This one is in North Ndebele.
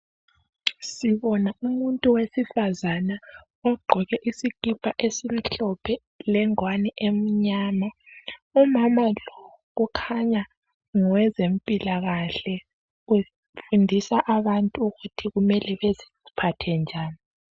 Sibona umuntu wesifazana ogqoke isikipa esimhlophe lengwane emnyama. Umama lo kukhanya ngowe zempilakahle ufundisa abantu ukuthi kumele baziphathe njani.